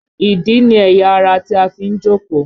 Ìdí ni ẹ̀yà ara tí a fi ń jókòó